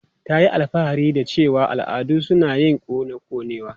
Ta yi alfahari da cewa al'adun su na yin kona konewa.